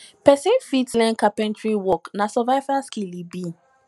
pesin fit learn carpentary work na survival skill e be